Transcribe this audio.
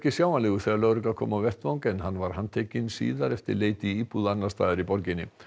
sjáanlegur þegar lögregla kom á vettvang en hann var handtekinn síðar eftir leit í íbúð annars staðar í borginni